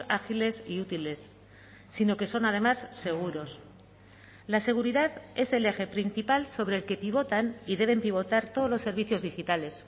ágiles y útiles sino que son además seguros la seguridad es el eje principal sobre el que pivotan y deben pivotar todos los servicios digitales